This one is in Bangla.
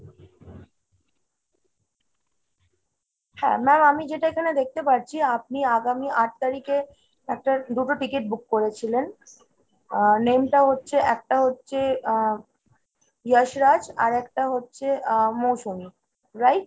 হ্যাঁ ma'am আমি যেটা এখানে দেখতে পারছি আপনি আগামী আট তারিখে একটা, দুটো ticket book করেছিলেন। ওহ name টা হচ্ছে একটা হচ্ছে আহ যশ রাজ আর একটা হচ্ছে আহ মৌসুমী। right ?